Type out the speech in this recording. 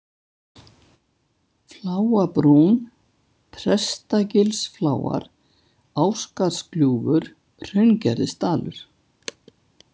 Fláabrún, Prestagilsfláar, Ásgarðsgljúfur, Hraungerðisdalur